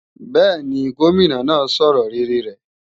Bẹ́ẹ̀ni, Gómìnà náà sọ̀rọ̀ rere rẹ̀